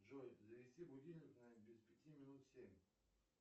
джой завести будильник на без пяти минут семь